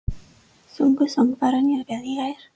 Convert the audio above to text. Sungu söngvararnir vel í gær?